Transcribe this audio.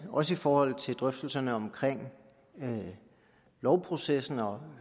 også i forhold til drøftelserne om lovprocessen og